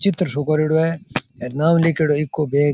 चित्र सो कोरेडो है और नाम लिखडा है ईको बैंक ।